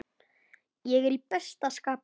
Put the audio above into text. Ég er í besta skapi.